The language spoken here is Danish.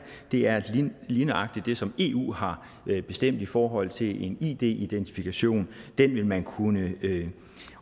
er lige nøjagtig det som eu har bestemt i forhold til en id identifikation den vil man kunne